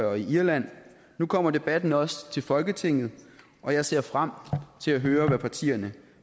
og irland nu kommer debatten også til folketinget og jeg ser frem til at høre hvad partierne